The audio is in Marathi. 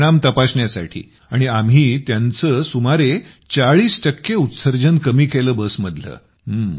त्याचे परिणाम तपासण्यासाठी आणि आम्ही त्यांचे सुमारे चाळीस टक्के उत्सर्जन कमी केलं बस मधले